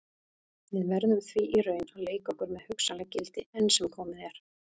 Við verðum því í raun að leika okkur með hugsanleg gildi, enn sem komið er.